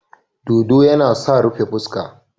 Dodo yana sa rufe fuska.